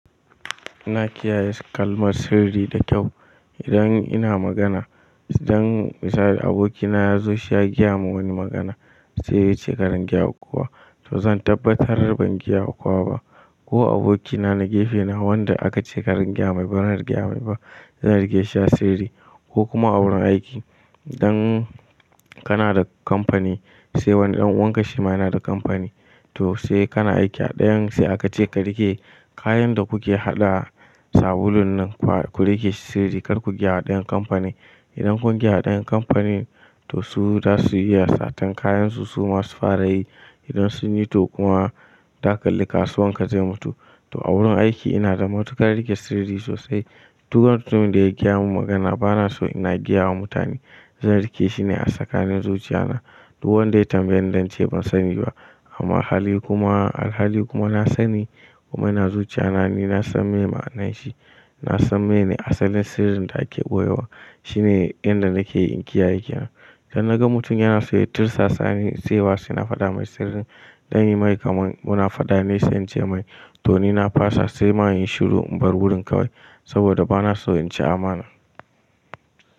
Ina kiyaye kalmar sirri da kyau. Idan ina magana, idan misali abokina ya zo shi ya gaya mun wani magana sai ya ce karan gyaya kuwa to zan tabbatar ban gyaya wa kowa ba. Ko abokina na gefe na wanda aka ce karan gyama bai ran gyama ba, zan riƙe shi a sirri. Ko kuma a wurin aiki idan kana da kamfani, sai wani ɗan wanka shi ma yana da kamfani, to sai kana aiki a ɗayan, sai aka ce ka riƙe kayan da kuke haɗa sabulun nan ku riƙe su sirri kar ku gyaya ɗayan kamfani. Idan kun gyaya ɗayan kamfani, to su za su iya satar kayansu su ma su fara yi. Idan sun yi to kuma dakalin kasuwan ka zai mutu. To a wurin aiki ina da matukar riƙe sirri sosai. Duk mutumin da ya gaya mun magana bana so ina gyawa mutane. Zan riƙe shi ne a tsakanin zuciya na. Duk wanda ya tambaye ni zan ce ban sani ba amma hali kuma, alhali kuma na sani kuma yana zuciya na, ni na san me ma'anashi. Na san menene asalin sirrin da ake ɓoyewa. Shine inda nake yin kiyaye kenan. Dan naga mutum yana so ya tirsasa ni sai wasu yana fada mai sirrin. Zan yi mai kamar muna fada ne sai in ce mai to ni na fasa sai ma in yi shiru in bar wurin kawai saboda bana so in ci amana.